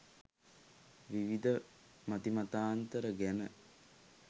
විවිධ මති මතාන්තර ගැන